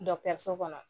so kɔnɔ